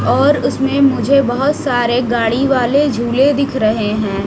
और उसमे मुझे बहोत सारे गाड़ी वाले झूले दिख रहे हैं।